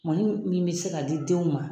Mɔni min min bɛ se ka di denw ma.